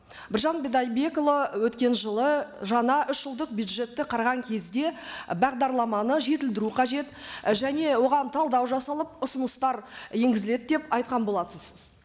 біржан бидайдекұлы өткен жылы жаңа үш жылдық бюджетті қараған кезде бағдарламаны жетілдіру қажет және оған талдау жасалып ұсыныстар енгізіледі деп айтқан болатынсыз